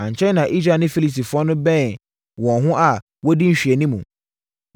Ankyɛre na Israel ne Filistifoɔ no bɛnee wɔn ho a wɔdi nhwɛanimu.